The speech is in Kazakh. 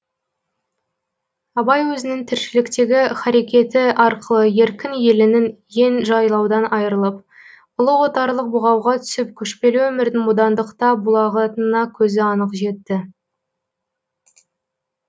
абай өзінің тіршіліктегі харакеті арқылы еркін елінің ен жайлаудан айрылып ұлы отарлық бұғауға түсіп көшпелі өмірдің бодандықта булығатынына көзі анық жетті